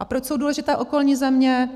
A proč jsou důležité okolní země?